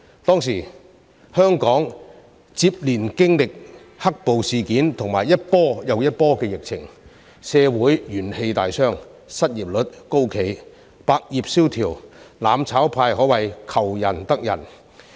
當時香港接連經歷"黑暴"事件和一波又一波的疫情，社會元氣大傷，失業率高企、百業蕭條，"攬炒派"可謂"求仁得仁"。